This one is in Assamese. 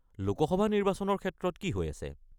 লোক সভা নিৰ্বাচনৰ ক্ষেত্ৰত কি হৈ আছে?